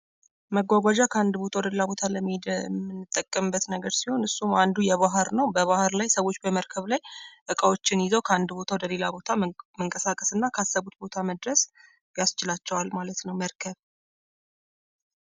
መጓጓዣ ከአንድ ቦታ ወደ ሌላ ቦታ ለመሄድ የምጠቀምበት ነገር ሲሆን እሱ አንዱ የባሕር ነው። በባህር ላይ ሰዎች በመርከብ ላይ ዕቃዎችን ይዘው ከአንድ ቦታ ወደ ሌላ ቦታ መንቀሳቀስና ካሰቡት ቦታ መድረስ ያስችላቸዋል ማለት ነው መርከብ።